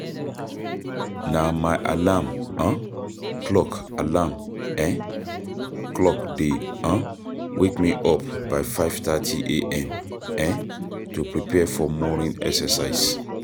Na my alarm um clock alarm um clock dey um wake me up by 5:30am um to prepare for morning exercise.